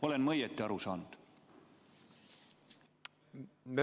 Olen ma õigesti aru saanud?